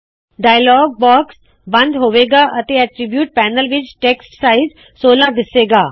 dialogue box ਬੰਦ ਹੋਵੇ ਗਾ ਅਤੇ ਐਟਰੀਬਿਊਟਸ ਪੈਨਲ ਵਿੱਚ ਟੈਕਸਟ ਸਾਇਜ਼ 16 ਦਿੱਸੇ ਗਾ